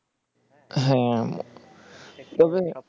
হ্যাঁ তবে